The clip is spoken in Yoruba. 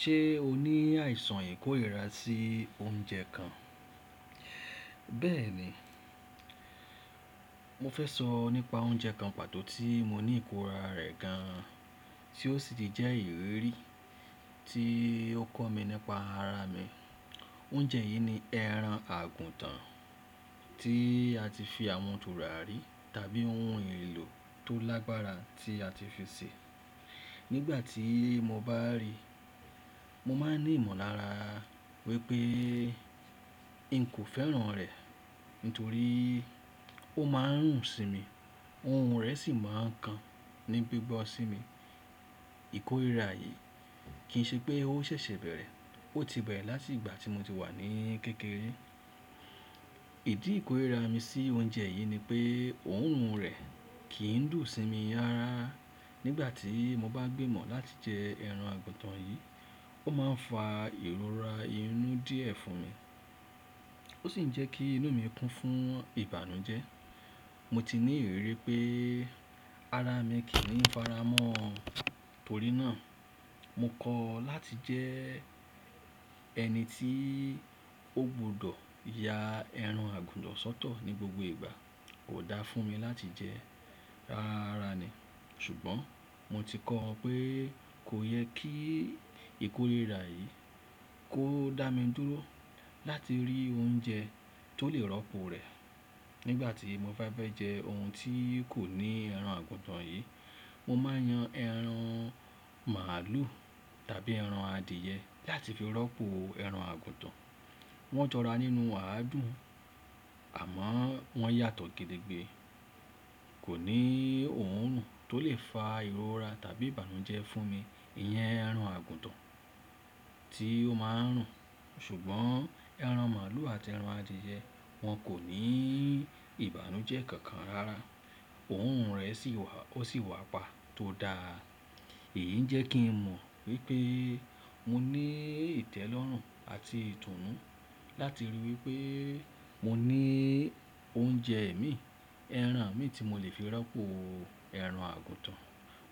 Ṣé o ní àìsàn ìkórìíra sí oúnjẹ kan? Bẹ́ẹ̀ni, mo fẹ́ sọ nípa oúnjẹ kan pàtó tí mo ní ìkóra rẹ̀ gan an, tí ó sì ti jẹ́ ìrirí tí ó kọ́ mi nípa ara mi. Oúnjẹ yìí ni ẹran àgùntàn tí a ti fi àwọn turàrí tàbí ohun ìlò tó lágbára tí a ti fi sè. Nígbà tí mo bá ríi, mo máa ní ìmọ̀lára wípé n kò fẹ́ràn rẹ̀ nítorí ó máa ń rùn sí mi, òórùn rẹ̀ sì máa ń kan ní gbígbọ́ sí mi. Ìkórìíra yìí kì í ṣe pé ó ṣẹ̀ṣẹ̀ bẹ̀rẹ̀, ó ti bẹ̀rẹ̀ láti ìgbà tí mo ti wà ní kékeré. Ìdí ìkórìíra mi sí oúnjẹ yìí ni pé òórùn rẹ̀ kì í dùn sí mi rara. Nígbà tí mo bá gbìmọ̀ láti jẹ ẹran àgùntàn yìí, ó máa ń fa ìrora inú díẹ̀ fún mi, ó sì ń jẹ́ kí inú mi kún fún ìbànújẹ́. Mo ti ní ìrírí pé ara mi kì í faramọ́ torí náà. Mo kọ̀ láti jẹ ẹni tí ó gbọdọ̀ ya ẹran àgùntàn sọ́tọ̀ ní gbogbo ìgbà. Kò da fún mi láti jẹ rárá ni. Ṣùgbọ́n mo ti kọ́ pé kò yẹ kí ìkórìíra yìí kó dá mi dúró láti rí oúnjẹ tó lè rọ́pò rẹ̀. Nígbà tí mo bá fẹ́ jẹ ohun tí kò ní ẹran àgùntàn yìí, mo máa ń yan ẹran màlúù tàbí ẹran adìẹ láti fi rọ́pò ẹran àgùntàn. Wọ́n jọra nínú àádùn àmọ́ wọ́n yàtọ̀ gede gbé. Kò ní òórùn tó lè fa ìrora tàbí ìbànújẹ́ fún mi. Iyẹn ẹran àgùntàn tí ó máa ń rùn, ṣùgbọ́n ẹran màlúù àti ẹran adìẹ wọn kò ní ìbànújẹ́ kankan rárá. Òórùn rẹ̀ sì wà, ó sì wà pa tó da. Èyí ń jẹ́ kí n mọ̀ wípé mo ní ìtẹ́lọ́rùn àti ìtùnú láti ríi wípé mo ní oúnjẹ mi, ẹran mi tí mo lè fi rọ́pò ẹran àgùntàn.